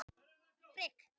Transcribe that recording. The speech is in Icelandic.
Nokkur útköll vegna vatnsleka